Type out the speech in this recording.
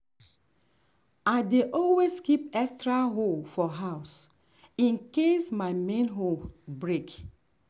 i dey always keep extra hoe for house in case my main hoe break.